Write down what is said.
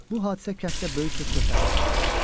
Bu hadisə kənddə böyük söz-söhbətə səbəb oldu.